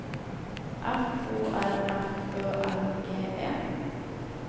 F O R F Ø L G E